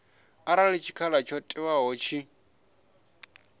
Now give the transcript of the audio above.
arali tshikhala tsho ṅewaho tshi